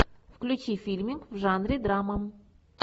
включи фильмик в жанре драма